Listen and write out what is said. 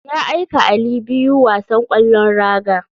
Ya aika ali biyu wasan kwallon raga.